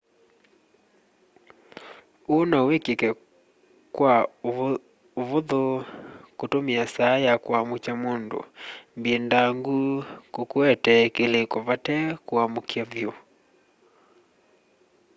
uu no wikike kwa uvuthu kutumia saa ya kuamukya mundu mbindangu kukuetee kiliko vate kukwamukya vyu